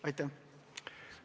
Aitäh!